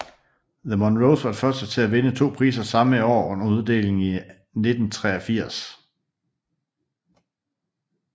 The Monroes var de første til at vinde to priser samme år under uddelingen i 1983